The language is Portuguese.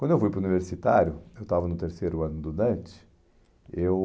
Quando eu fui para o universitário, eu estava no terceiro ano do Dante, eu...